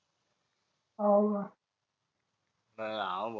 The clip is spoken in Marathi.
हो का अं अं